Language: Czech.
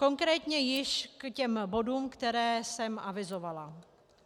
Konkrétně již k těm bodům, které jsem avizovala.